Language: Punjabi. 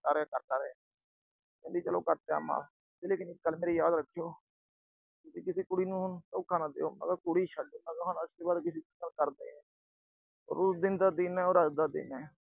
ਕਰਦਾ ਰਿਹਾ, ਕਰਦਾ ਰਿਹਾ। ਕਹਿੰਦੀ ਚਲੋ ਕਰ ਤਿਆ ਮਾਫ, ਪਰ ਇੱਕ ਗੱਲ ਮੇਰੀ ਯਾਦ ਰੱਖੀਓ। ਕਿ ਕਿਸੀ ਕੁੜੀ ਨੂੰ ਧੋਖਾ ਨਾ ਦੇਈਓ। ਮੈਂ ਕਿਹਾ ਕੁੜੀ ਛੱਡ, ਅੱਜ ਤੋਂ ਬਾਅਦ ਕਿਸੀ ਨਾਲ ਕਰਦਾ ਈ ਨੀ। ਉਸ ਦਿਨ ਦਾ ਦਿਨ ਆ ਔਰ ਅੱਜ ਦਾ ਦਿਨ ਆ।